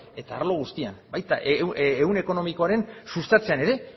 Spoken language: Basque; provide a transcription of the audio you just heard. eta arlo guztian baita ehun ekonomikoaren sustatzean ere